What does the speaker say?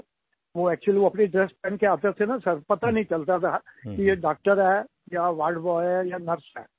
वो एक्चुअली वो अपनी ड्रेस पहनकर आते थे न सिर पता नहीं चलता था कि ये डॉक्टर है या वार्ड बॉय है या नर्स है